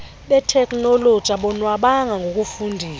beteknoloji abonwabanga ngokufundiswa